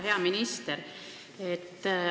Hea minister!